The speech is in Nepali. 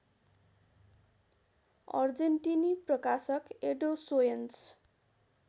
अर्जेन्टिनी प्रकाशक एडोसोयोन्स